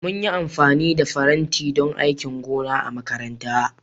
Mun yi amfani da faranti don aikin gona a makaranta